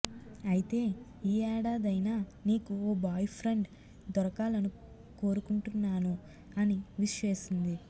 అయితే ఈ ఏడాదైనా నీకు ఓ బాయ్ఫ్రెండ్ దొరకాలను కోరుకుంటున్నాను అని విష్ చేసింది